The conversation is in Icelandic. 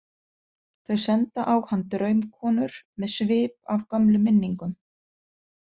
Þau senda á hann draumkonur með svip af gömlum minningum.